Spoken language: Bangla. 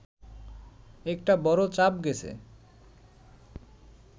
একটা বড় চাপ গেছে